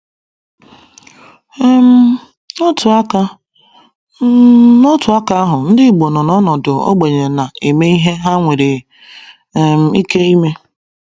um N’otu aka um N’otu aka ahụ, ndị Igbo nọ n’ọnọdụ ogbenye na-eme ihe ha nwere um ike ime.